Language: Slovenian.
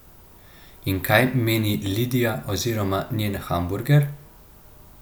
In kaj meni Lidija oziroma njen hamburger?